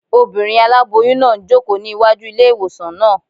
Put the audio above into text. Obìnrin aláboyún náà ń jòkó ní wájú ilé-ìwòsàn náà